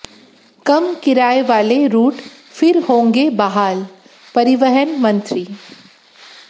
कम किराए वाले रूट फिर होंगे बहालः परिवहन मंत्री